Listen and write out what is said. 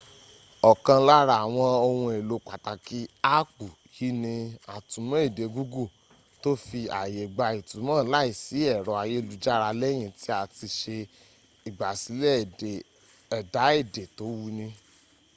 ọkàn lára àwọn ohun èlò pàtàkì áàpù yí ni atúmọ̀ èdè google tó fi aàyè gba ìtùmò láìsí ẹ̀rọ ayélujára lẹ́yìn tí a ti se igbàsílè ẹ̀dà èdè tó wuni